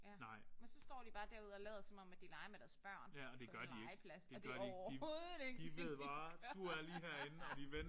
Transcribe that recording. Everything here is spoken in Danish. Ja men så står de bare derude og lader som om at de leger med deres børn på legepladsen og det er overhovedet ikke det de gør